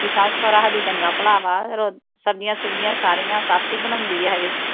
ਬਾਕੀ ਸੱਸ ਸੁਹਰਾ ਹਜੇ ਚੰਗਾ ਭਲਾ ਵਾ ਫਿਰ ਓਹ ਸਬਜੀਆਂ ਸੁਬਜੀਆਂ ਸਾਰੀਆਂ ਸੱਸ ਹੀ ਬਣਾਉਣੀ ਹਜੇ